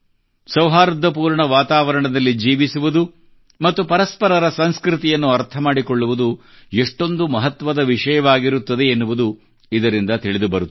ಸೌಹಾರ್ದಪೂರ್ಣ ವಾತಾವರಣದಲ್ಲಿ ಜೀವಿಸುವುದು ಮತ್ತು ಪರಸ್ಪರರ ಸಂಸ್ಕೃತಿಯನ್ನು ಅರ್ಥ ಮಾಡಿಕೊಳ್ಳುವುದು ಎಷ್ಟೊಂದು ಮಹತ್ವದ ವಿಷಯವಾಗಿರುತ್ತದೆ ಎನ್ನುವುದು ಇದರಿಂದ ತಿಳಿದುಬರುತ್ತದೆ